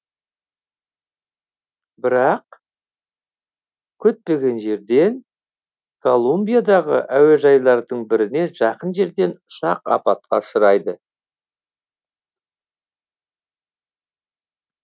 бірақ күтпеген жерден колумбиядағы әуежайлардың біріне жақын жерден ұшақ апатқа ұшырайды